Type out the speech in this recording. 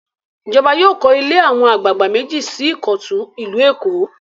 Ìjọba yóò kọ́ ilé àwọn àgbàlagbà méjì sí Ìkọ̀tún, ìlú Èkó.